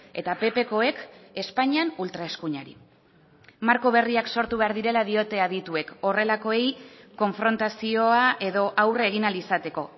eta ppkoek espainian ultraeskuinari marko berriak sortu behar direla diote adituek horrelakoei konfrontazioa edo aurre egin ahal izateko